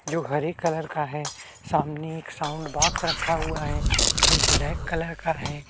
जो हरे कलर का है सामने एक साउंड बॉक्स रखा हुआ है जो ब्लैक कलर का है।